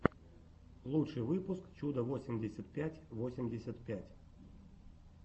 лучший выпуск чудо восемьдесят пять восемьдесят пять